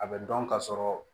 A bɛ dɔn ka sɔrɔ